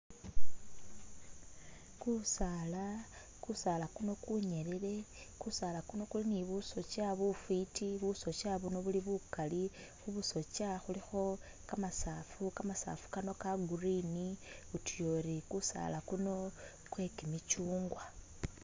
Kusaala, kusaala kuno kunyelele, kusaala kuno kuli ne busotsya bufwiti busotsya buno buli bukaali, khubusotsya khulikho kamasaafu, kamasaafu kano kagreen utuya uri kusaala kuno kwe kimichungwa.